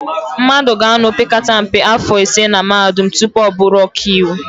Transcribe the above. Mmadụ ga-anọ opekata mpe áfọ̀ ise na Mahadum tupu ọ bụrụ ọkaiwu.